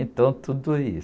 Então tudo isso.